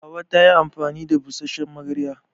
Hauwa ta yi amfani da busasshen magarya.